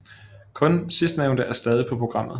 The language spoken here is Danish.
Kun sidstnævnte er stadig på programmet